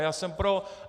A já jsem pro.